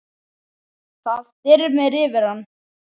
Það þyrmir yfir hann.